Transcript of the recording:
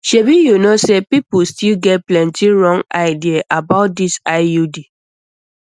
shebi you know say people still get plenty wrong idea about dis iud